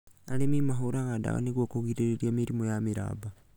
Arĩmi nĩ mahũraga ndawa nĩguo kũgĩrĩria mĩrimũ ya mĩramba